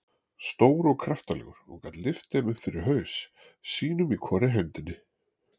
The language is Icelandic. Stór og kraftalegur og gat lyft þeim upp fyrir haus, sínum í hvorri hendinni.